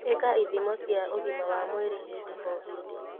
ĩka ithimo cia ugĩma wa mwĩrĩ hĩndĩ o hĩndĩ.